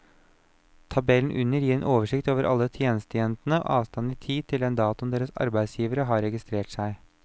Tabellen under gir en oversikt over alle tjenestejentene og avstanden i tid til den datoen deres arbeidsgivere har registrert seg.